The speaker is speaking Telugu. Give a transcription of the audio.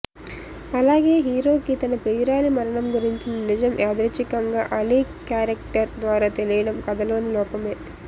అలాగే హీరోకి తన ప్రియురాలి మరణం గురించిన నిజం యాధృచ్చికంగా అలీ క్యారెక్టర్ ద్వారా తెలియడం కథలోని లోపమే